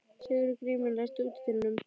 Sigurgrímur, læstu útidyrunum.